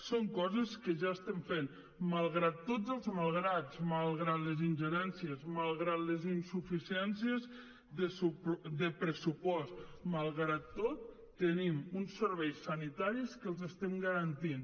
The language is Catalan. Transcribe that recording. són coses que ja estem fent malgrat tots els malgrats malgrat les ingerències malgrat les insuficiències de pressupost malgrat tot tenim uns serveis sanitaris que els estem garantint